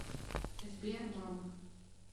сбер мам